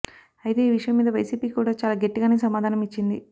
అయితే ఈ విషయం మీద వైసీపీ కూడా చాలా గట్టిగానే సమాధానం ఇచ్చింది